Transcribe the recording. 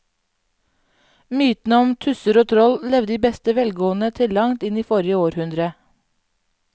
Mytene om tusser og troll levde i beste velgående til langt inn i forrige århundre.